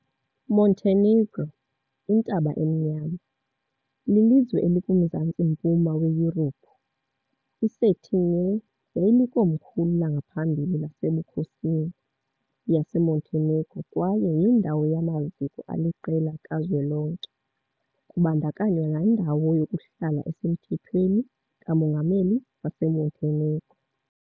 Montenegro, Intaba Emnyama, lilizwe elikuMzantsi-mpuma weYurophu. I-Cetinje yayilikomkhulu langaphambili lasebukhosini yaseMontenegro kwaye yindawo yamaziko aliqela kazwelonke, kubandakanywa nendawo yokuhlala esemthethweni kamongameli waseMontenegro.